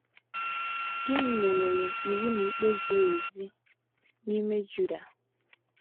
Gịnị meworo iwu na ikpe ziri ezi n’ime Juda?